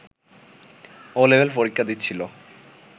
'ও' level পরীক্ষা দিচ্ছিল